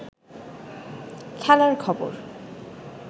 খেলার খবর